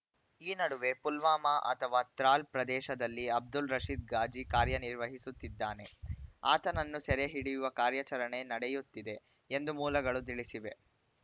ಈ ನಡುವೆ ಪುಲ್ವಾಮಾ ಅಥವಾ ತ್ರಾಲ್‌ ಪ್ರದೇಶದಲ್ಲಿ ಅಬ್ದುಲ್‌ ರಶೀದ್‌ ಗಾಜಿ ಕಾರ್ಯನಿರ್ವಹಿಸುತ್ತಿದ್ದಾನೆ ಆತನನ್ನು ಸೆರೆ ಹಿಡಿಯುವ ಕಾರ್ಯಾಚರಣೆ ನಡೆಯುತ್ತಿದೆ ಎಂದು ಮೂಲಗಳು ತಿಳಿಸಿವೆ